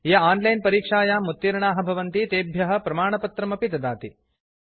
ये आनलैन परीक्षायां उत्तीर्णाः भवन्ति तेभ्यः प्रमाणपत्रमपि ददाति